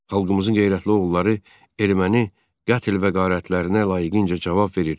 Xalqımızın qeyrətli oğulları erməni qətl və qarətlərinə layiqincə cavab verir.